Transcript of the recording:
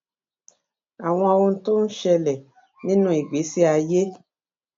àwọn ohun tó ń ṣẹlè nínú ìgbésí ayé